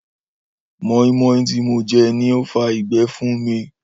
móínmóín tí mo je ni ó fa ìgbé fún mi